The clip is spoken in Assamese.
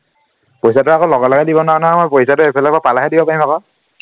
পইচাটো আকৌ লগে লগে দিব নোৱাৰো নহয় মই পইচাটো সেইফালৰপৰা পালেহে দিব পাৰিম আকৈ